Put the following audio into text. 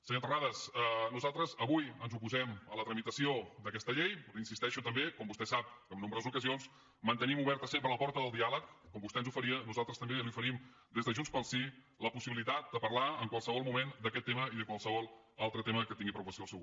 senyor terrades nosaltres avui ens oposem a la tramitació d’aquesta llei però insisteixo també com vostè ho sap que en nombroses ocasions mantenim oberta sempre la porta del diàleg com vostè ens oferia nosaltres també li oferim des de junts pel sí la possibilitat de parlar en qualsevol moment d’aquest tema i de qualsevol altre tema que tingui preocupació el seu grup